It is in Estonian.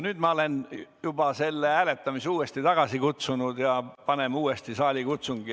Nüüd ma olen juba hääletamise tagasi kutsunud ja panen uuesti tööle saalikutsungi.